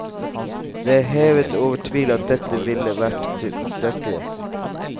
Det er hevet over tvil at dette ville vært tilstrekkelig.